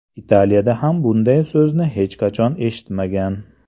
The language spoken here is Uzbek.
Italiyada ham bunday so‘zni hech qachon eshitmagan.